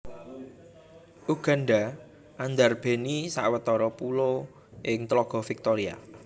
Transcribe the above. Uganda andarbèni sawetara pulo ing tlaga Victoria